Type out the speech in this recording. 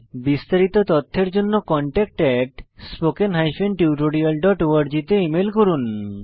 বিস্তারিত তথ্যের জন্য contactspoken tutorialorg তে ইমেল করুন